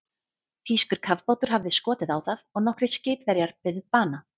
Þýskur kafbátur hafði skotið á það og nokkrir skipverjar beðið bana.